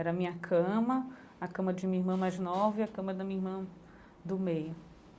Era a minha cama, a cama de minha irmã mais nova e a cama da minha irmã do meio.